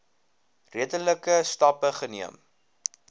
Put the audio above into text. redelike stappe geneem